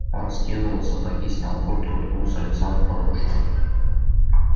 он скинул сапоги снял куртку уткнулся лицом в подушку